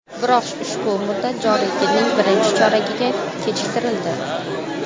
Biroq ushbu muddat joriy yilning birinchi choragiga kechiktirildi.